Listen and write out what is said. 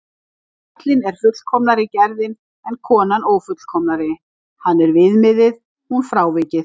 Karlinn er fullkomnari gerðin en konan ófullkomnari, hann er viðmiðið, hún frávikið.